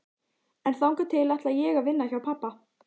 En þangað til ætla ég að vinna hjá pabba.